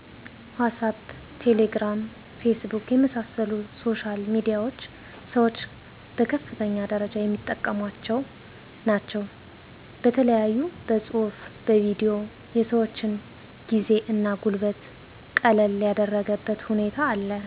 ዋሳፕ :ቴሌግራም :ፌስቡክ የመሣሰሉት ሶሻል ሚዲያዎች ሠወች በከፍተኛ ደረጃ የሚጠቀሟቸው ናቸው በተለያዮ በፅሁፉ በቪዲዮ የሰወችን ጊዜ እና ጉልበት ቀለል ያደረገበት ሁኔታ አለ